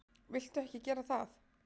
Viltu ekki gera það!